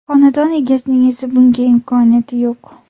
Xonadon egasining esa bunga imkoniyati yo‘q.